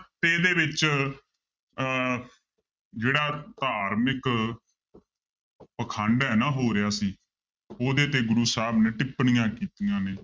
ਤੇ ਇਹਦੇ ਵਿੱਚ ਅਹ ਜਿਹੜਾ ਧਾਰਮਿਕ ਪਾਖੰਡ ਇੰਨਾ ਹੋ ਰਿਹਾ ਸੀ ਉਹਦੇ ਤੇ ਗੁਰੂ ਸਾਹਿਬ ਨੇ ਟਿਪਣੀਆਂ ਕੀਤੀਆਂ ਨੇ